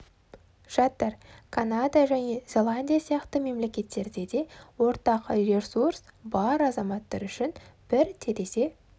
жатыр канада жаңа зеландия сияқты мемлекеттерде де ортақ ресурс бар азаматтар үшін ыңғайлы бір терезе